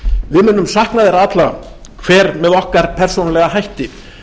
við munum sakna þeirra allra hver með okkar persónulega hætti